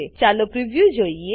ચાલો હવે preview preview જોઈએ